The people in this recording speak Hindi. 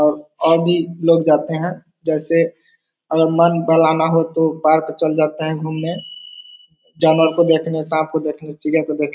और और भी लोग जाते हैं जैसे अगर मन बहलाना हो तो पार्क चल जाते हैं घूमने जानवर को देखने सांप को देखने चिड़ियाँ को देख --